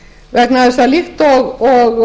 vegna þess að líkt og